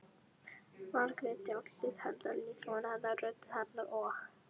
Margréti- andliti hennar, líkama hennar, rödd hennar- og